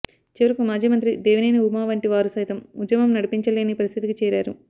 చివరకు మాజీ మంత్రి దేవినేని ఉమా వంటి వారు సైతం ఉద్యమం నడిపించలేని పరిస్థితికి చేరారు